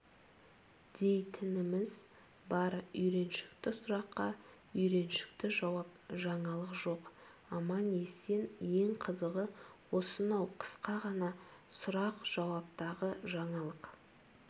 дейтініміз бар үйреншікті сұраққа үйреншікті жауап жаңалық жоқ аман-есен ең қызығы осынау қысқа ғана сұрақ-жауаптағы жаңалық